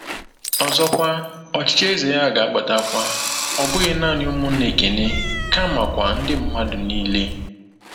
Ọzọkwa, ọchịchị eze ya ga-agbatakwa, ọ bụghị naanị ụmụnna Ekene, kamakwa “ndị mmadụ niile.”